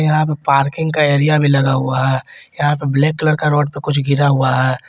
यहां पे पार्किंग का एरिया भी लगा हुआ है यहां पे ब्लैक कलर का रोड पे कुछ गिरा हुआ है।